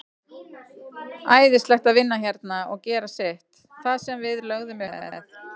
Æðislegt að vinna hérna og gera sitt, það sem við lögðum upp með.